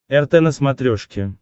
рт на смотрешке